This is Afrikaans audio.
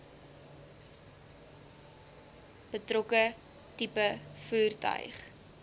betrokke tipe voertuig